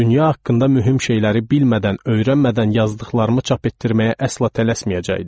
Dünya haqqında mühüm şeyləri bilmədən, öyrənmədən yazdıqlarımı çap etdirməyə əsla tələsməyəcəkdim.